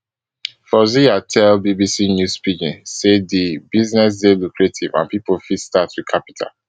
fauzziya tell bbc news pidgin say di business dey lucrative and pipo fit start wit capital